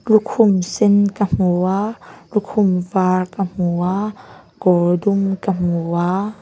lukhum sen ka hmu a lukhum vâr ka hmu a kawr dum ka hmu a.